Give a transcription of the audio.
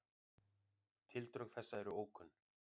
Tildrög þessa eru ókunn.